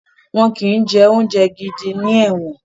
Wọn kì í jẹ oúnjẹ gidi ní ẹ̀wọ̀n